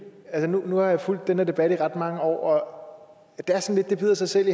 at nu har jeg fulgt den her debat i ret mange år og det bider sig selv